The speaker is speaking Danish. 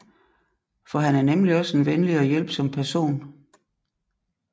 For han er nemlig også en venlig og hjælpsom person